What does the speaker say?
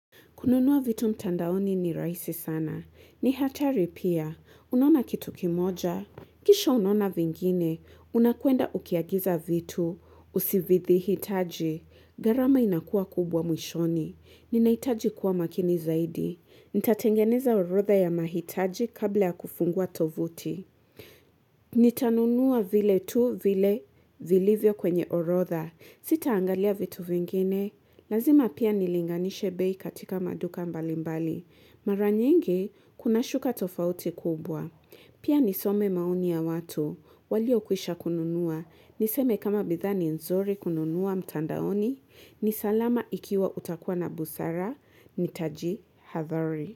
Kununuwa vitu mtandaoni ni raisi sana. Ni hatari pia. Unaona kitu kimoja. Kesho unaona vingine. Unakuenda ukiagiza vitu. Usivithi hitaji. Garama inakua kubwa mwishoni. Nina hitaji kuwa makini zaidi. Nitatengeneza orodha ya mahitaji kabla ya kufungua tovuti. Nitanunua vile tu vile vilivyo kwenye orodha. Sita angalia vitu vingine. Lazima pia nilinganishe bei katika maduka mbalimbali. Maranyingi, kuna shuka tofauti kubwa. Pia nisome maoni ya watu. Walio kwisha kununua. Niseme kama bidhaa ni nzori kununua mtandaoni. Ni salama ikiwa utakua na busara. Nitajihadhari.